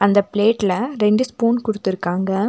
இந்த பிளேட்ல ரெண்டு ஸ்பூன் குடுத்துருக்காங்க.